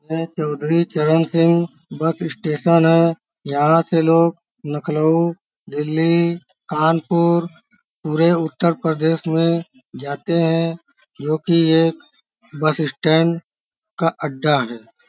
यह Chaudhary Charan Singh bus station है। यहाँ के लोग नखलऊ दिल्ली कानपूर पूरे उत्तर प्रदेश में जाते हैं क्योंकि एक बस स्टैंड का अड्डा है।